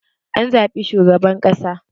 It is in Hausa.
An zabi shugaban ƙasa